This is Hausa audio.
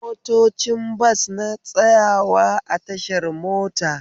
Motocin bas na tsayawa a tashar mota